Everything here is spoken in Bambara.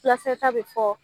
Fulakisɛ ta bɛ fɔ.